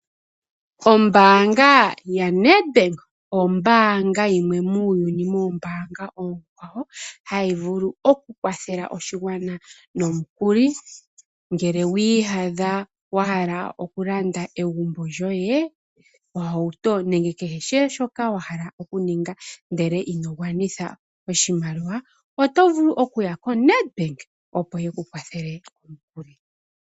Ombaanga yaNedbank ombaanga yimwe muuyuni moombaanga oonkwawo hayi vulu okukwathela oshigwana nomikuli. Ngele wiiyadha wahala okulanda egumbo lyoye, ohauto nakehe shoka wahala okuninga ndele ino gwanitha oshimaliwa oto vulu okuya yoNedbank opo yekukwathele omukuli.